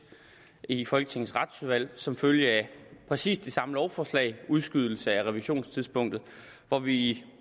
i folketingets retsudvalg som følge af præcis det samme lovforslag udskydelse af revisionstidspunktet hvor vi